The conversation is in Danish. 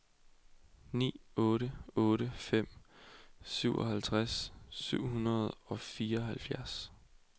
ni otte otte fem syvoghalvtreds syv hundrede og fireoghalvfjerds